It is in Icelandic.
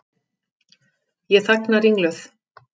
Ég þagna ringluð.